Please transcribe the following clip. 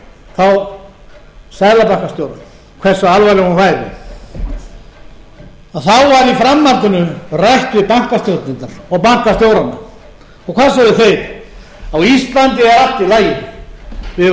þá seðlabankastjóra hversu alvarleg hún væri þá var í framhaldinu rætt við bankastjórnendur og bankastjórana og og hvað sögðu þeir á íslandi er allt í lagi við eigum